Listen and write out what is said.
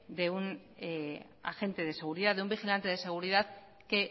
de un agente de seguridad de un vigilante de seguridad que